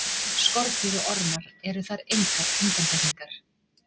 Skordýr og ormar eru þar engar undantekningar.